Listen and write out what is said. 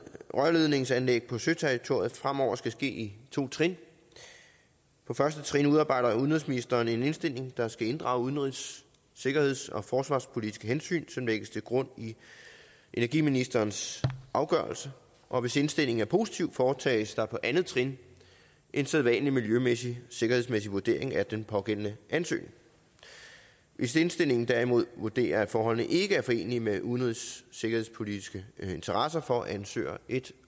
rørledningsanlæg på søterritoriet fremover skal ske i to trin på første trin udarbejder udenrigsministeren en indstilling der skal inddrage udenrigs sikkerheds og forsvarspolitiske hensyn som lægges til grund i energiministerens afgørelse og hvis indstillingen er positiv foretages der på andet trin en sædvanlig miljømæssig sikkerhedsmæssig vurdering af den pågældende ansøgning hvis indstillingen derimod vurderer at forholdene ikke er forenelige med udenrigs og sikkerhedspolitiske interesser får ansøger et